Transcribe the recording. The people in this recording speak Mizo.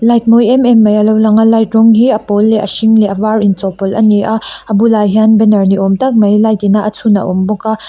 light mawi em em mai a lo lang a light rawng hi a pawl leh a hring leh a var inchawlhpawlh a ni a a bulah hian banner ni awm tak mai light ina a chhun a awm bawk a.